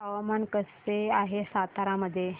हवामान कसे आहे सातारा मध्ये